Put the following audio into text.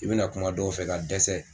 I be na na kuma dɔw fɛ ka dɛsɛ